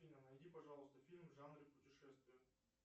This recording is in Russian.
афина найди пожалуйста фильм в жанре путешествия